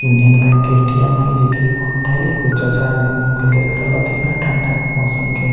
Union Bank के ATM. हई जे की बंद हई एगो चचा एने घूम के देख रहलथींन हे ठंडा के मौसम के।